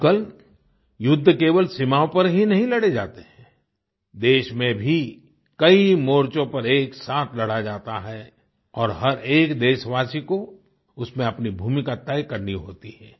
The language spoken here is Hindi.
आजकल युद्ध केवल सीमाओं पर ही नहीं लड़े जाते हैं देश में भी कई मोर्चों पर एक साथ लड़ा जाता है और हर एक देशवासी को उसमें अपनी भूमिका तय करनी होती है